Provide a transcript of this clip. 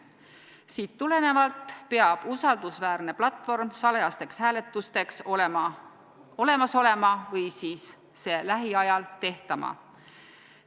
Sellest tulenevalt peab usaldusväärne platvorm salajasteks hääletusteks olemas olema või siis see lähiajal tehtama.